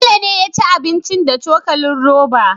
Bello ne yaci abincin da cokalin roba